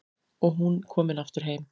Og hún komin aftur heim.